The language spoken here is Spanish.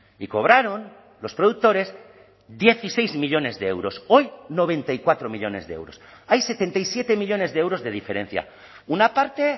y cobraron los productores dieciséis millónes de euros hoy noventa y cuatro millónes de euros hay setenta y siete millónes de euros de diferencia una parte